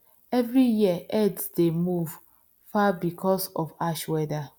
every year herds dey move far because of harsh weather